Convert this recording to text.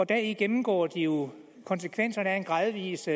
deri gennemgår de jo konsekvenserne af en gradvis